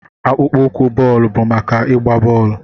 Akpụkpọ ụkwụ bọọlụ bụ maka ịgba bọọlụ.